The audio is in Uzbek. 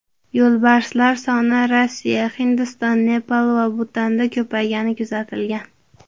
Yo‘lbarslar soni Rossiya, Hindiston, Nepal va Butanda ko‘paygani kuzatilgan.